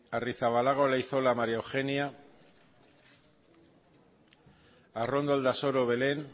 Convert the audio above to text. arrizabalaga olaizola maría eugenia arrondo aldasoro belén